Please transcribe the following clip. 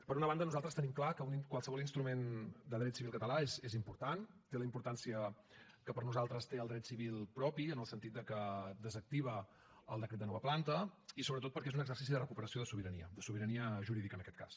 per una banda nosaltres tenim clar que qualsevol instrument de dret civil català és important té la importància que per nosaltres té el dret civil propi en el sentit que desactiva el decret de nova planta i sobretot perquè és un exercici de recuperació de sobirania de sobirania jurídica en aquest cas